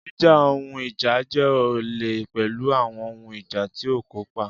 Jíjà ohun ìjà jẹ́ olè pẹ̀lú àwọn ohun ìjà tí ó kópa.